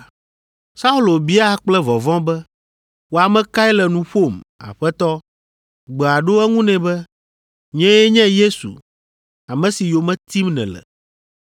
Saulo bia kple vɔvɔ̃ be, “Wò ame kae le nu ƒom, Aƒetɔ?” Gbea ɖo eŋu nɛ be, “Nyee nye Yesu, ame si yome tim nèle.